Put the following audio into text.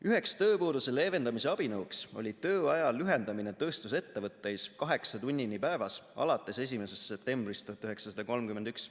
Üheks tööpuuduse leevendamise abinõuks oli tööaja lühendamine tööstusettevõtteis kaheksa tunnini päevas alates 1. septembrist 1931.